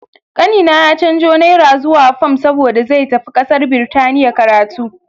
Kanina ya canzo naira zuwa fam saboda zai tafi kasar Birtaniya karatu.